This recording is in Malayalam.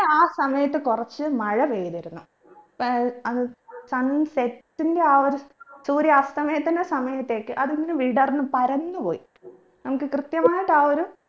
ആ സമയത്ത് കുറച്ച് മഴ പെയ്തിരുന്നു ഏർ അത് sunset ന്റെ ആ ഒരു സൂര്യാസ്തമയത്തിന്റെ സമയത്തേക്ക് അതിങ്ങന വിടർന്ന് പരന്നുപോയി